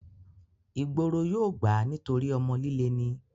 ìgboro yóò gbà á nítorí ọmọ líle ni